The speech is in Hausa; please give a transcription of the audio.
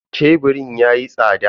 Sheburin yayi tsada.